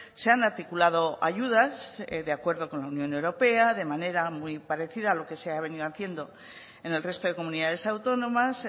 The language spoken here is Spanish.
se han articulado ayudas de acuerdo con la unión europea de manera muy parecida a lo que se ha venido haciendo en el resto de comunidades autónomas